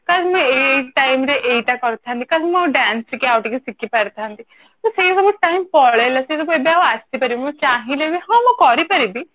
କାସ ମୁଁ ଏଇ time ରେ ଏଇଟା କରିଥାନ୍ତି dance ଟିକେ ଆଉ ଟିକେ ଶିଖି ପାରିଥାନ୍ତି ସେସବୁ time ପଳେଇଲା ସେସବୁ time ଆଉ ଆସିପାରିବନି ମୁଁ ଚାହିଁଲେ ବି ହଁ ମୁଁ କରି ପାରିବି